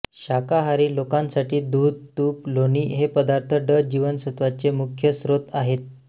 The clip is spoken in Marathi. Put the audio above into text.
शाकाहारी लोकांसाठी दुध तूप लोणी हे पदार्थ ड जीवनसत्त्वाचे मुख्य स्त्रोत आहेत